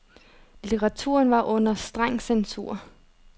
Litteraturen var under streng censur.